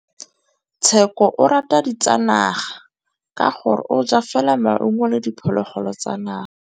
Tshekô o rata ditsanaga ka gore o ja fela maungo le diphologolo tsa naga.